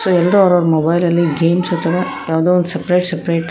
ಎಲ್ಲರೂ ಅವರವರ ಮೊಬೈಲಲ್ಲಿ ಗೇಮ್ಸ್ ತರ ಯಾವ್ದೋ ಒಂದು ಸಪರೇಟ್ ಸಪರೇಟ್ --